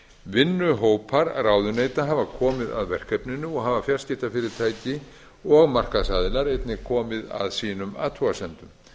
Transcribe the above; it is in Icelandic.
vinnuhópar ráðuneyta hafa komið að verkefninu og hafa fjarskiptafyrirtæki og markaðsaðilar einnig komið að sínum athugasemdum